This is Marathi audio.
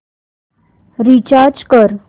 रीचार्ज कर